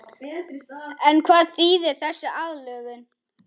En hvað þýðir þessi aðlögun?